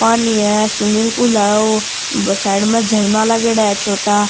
पानी है swimming pool है ओ साइड में झरना लागेड़ा है छोटा।